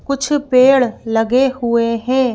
कुछ पेड़ लगे हुए हैं।